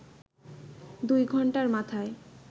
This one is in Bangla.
দুই ঘণ্টার মাথায়